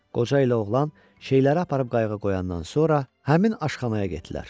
Qoca ilə oğlan şeyləri aparıb qayıqa qoyandan sonra həmin aşxanaya getdilər.